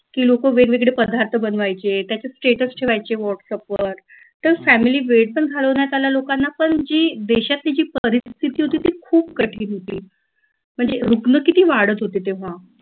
की लोक वेगवेगळे पदार्थ बनवायचे त्याच्यात status ठेवायचे whatsapp वर तर family वेळ पण घालवण्यात आला लोकांना पण जी देशातली जी परिस्थिती होती ती खूप कठीण होती म्हणजे रुग्ण किती वाढत होते तेव्हा